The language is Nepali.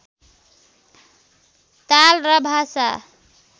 ताल र भाषा